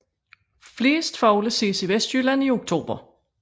Flest fugle ses i Vestjylland i oktober